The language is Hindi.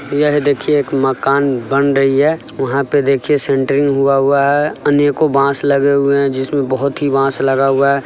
यहाँ देखिये एक मकान बन रही है| वहाँ पर देखिये सेंट्रिंग हुआ है अनेको बॉस लगे हुए हैं जिसमें बहोत ही बॉस लगा हुआ है।